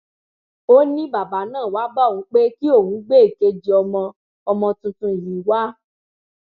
ó ní bàbá náà wáá bá òun pé kí òun gbé èkejì ọmọ ọmọ tuntun yìí wá